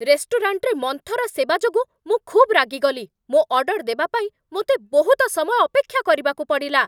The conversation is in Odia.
ରେଷ୍ଟୁରାଣ୍ଟରେ ମନ୍ଥର ସେବା ଯୋଗୁଁ ମୁଁ ଖୁବ୍ ରାଗିଗଲି। ମୋ ଅର୍ଡର୍ ଦେବା ପାଇଁ ମୋତେ ବହୁତ ସମୟ ଅପେକ୍ଷା କରିବାକୁ ପଡ଼ିଲା!